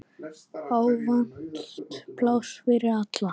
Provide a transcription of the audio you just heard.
Ávallt pláss fyrir alla.